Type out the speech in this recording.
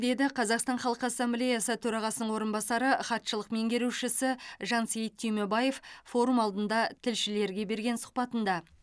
деді қазақстан халқы ассамблеясы төрағасының орынбасары хатшылық меңгерушісі жансейіт түймебаев форум алдында тілшілерге берген сұхбатында